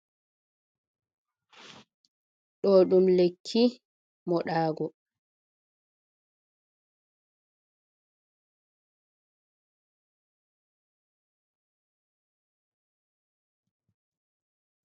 Ɗo ɗum lekki moɗago.